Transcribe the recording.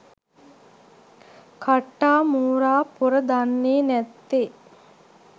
කට්ටා මෝරා පොර දන්නේ නැත්තේ.